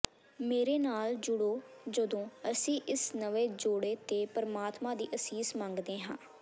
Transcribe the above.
ਮੇਰੇ ਨਾਲ ਜੁੜੋ ਜਦੋਂ ਅਸੀਂ ਇਸ ਨਵੇਂ ਜੋੜੇ ਤੇ ਪਰਮਾਤਮਾ ਦੀ ਅਸੀਸ ਮੰਗਦੇ ਹਾਂ